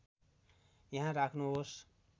यहाँ राख्नुहोस्